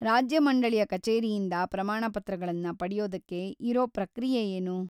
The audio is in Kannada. ರಾಜ್ಯ ಮಂಡಳಿಯ ಕಚೇರಿಯಿಂದ ಪ್ರಮಾಣಪತ್ರಗಳನ್ನ ಪಡೆಯೋದಕ್ಕೆ ಇರೋ ಪ್ರಕ್ರಿಯೆ ಏನು?